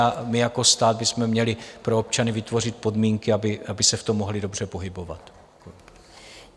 A my jako stát bychom měli pro občany vytvořit podmínky, aby se v tom mohli dobře pohybovat.